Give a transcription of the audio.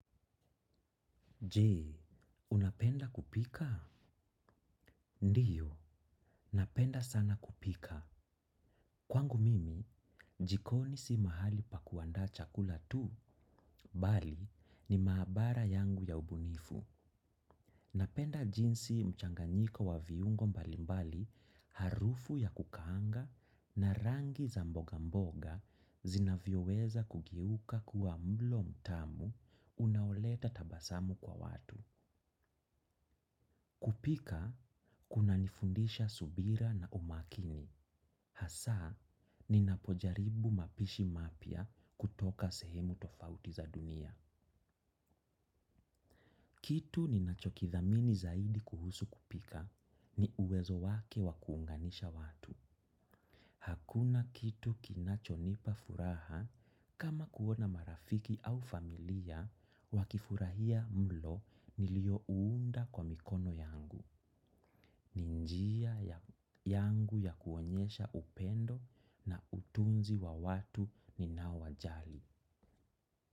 Je, unapenda kupika? Ndiyo, napenda sana kupika. Kwangu mimi, jikoni si mahali pa kuanda chakula tu, bali ni maabara yangu ya ubunifu. Napenda jinsi mchanganyiko wa viungo mbalimbali harufu ya kukaanga na rangi za mboga mboga zinavyo weza kugeuka kuwa mlo mtamu unaoleta tabasamu kwa watu. Kupika, kuna nifundisha subira na umakini. Hasaa, ninapojaribu mapishi mapya kutoka sehemu tofauti za dunia. Kitu ninachokithamini zaidi kuhusu kupika ni uwezo wake wakuunganisha watu. Hakuna kitu kinachonipa furaha kama kuona marafiki au familia wakifurahia mlo nilio uunda kwa mikono yangu. Ninjia yangu ya kuonyesha upendo na utunzi wa watu ni naowajali.